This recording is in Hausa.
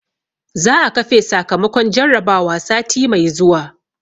za a kafe sakamakon jarrabawa sati mai zuwa